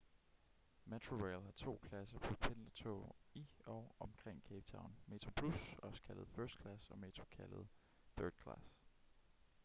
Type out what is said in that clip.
metrorail har to klasser på pendlertoge i og omkring cape town: metroplus også kaldet first class og metro kaldet third class